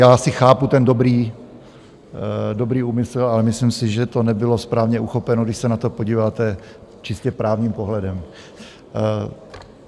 já asi chápu ten dobrý úmysl, ale myslím si, že to nebylo správně uchopeno, když se na to podíváte čistě právním pohledem.